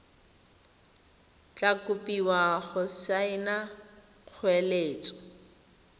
tla kopiwa go saena kgoeletso